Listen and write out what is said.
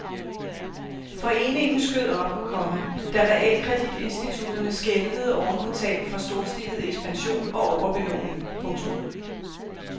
Foreningen skød op, komma da realkreditinstitutterne skælvede oven på tab fra storstilet ekspansion og overbelåning. punktum